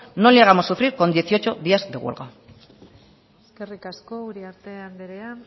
no le hagamos sufrir con dieciocho días de huelga eskerrik asko uriarte andrea